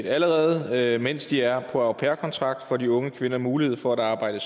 allerede mens de er på au pair kontrakt får de unge kvinder mulighed for at arbejde